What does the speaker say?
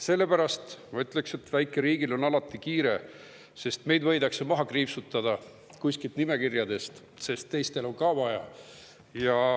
Sellepärast ma ütleks, et väikeriigil on alati kiire, kuna meid võidakse kuskilt nimekirjadest maha kriipsutada, sest teistel on ka vaja.